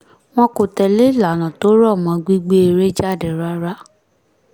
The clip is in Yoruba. wọn kò tẹ̀lé ìlànà tó rọ̀ mọ́ gbígbé eré jáde rárá